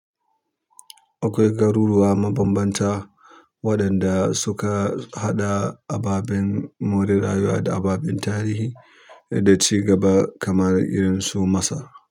Akwai garuruwa mabambanta waɗanda suka haɗa ababen more rayuwa da ababen tarihi da cigaba kamar irin su Masar.